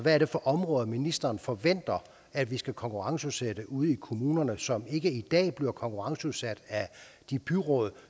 er det for områder ministeren forventer at vi skal konkurrenceudsætte ude i kommunerne som ikke i dag bliver konkurrenceudsat af de byråd